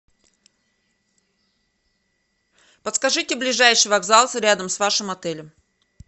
подскажите ближайший вокзал рядом с вашим отелем